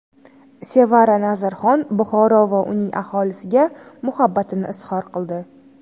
Sevara Nazarxon Buxoro va uning aholisiga muhabbatini izhor qildi.